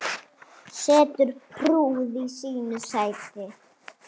Situr prúð í sínu sæti.